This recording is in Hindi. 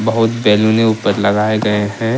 बहुत बैलूने ऊपर लगाए गए हैं।